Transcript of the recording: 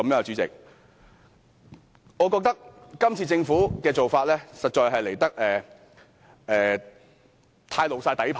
主席，我覺得政府這次做法實在過分曝露底牌。